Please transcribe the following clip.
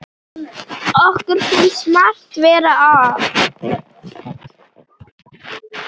Okkur finnst margt vera að.